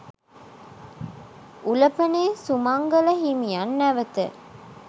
උලපනේ සුමංගල හිමියන් නැවත